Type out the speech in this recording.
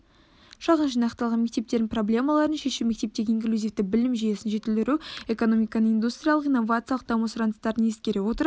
шағын жинақталған мектептердің проблемаларын шешу мектептегі инклюзивті білім жүйесін жетілдіру экономиканың индустриялық-инновациялық даму сұраныстарын ескере отырып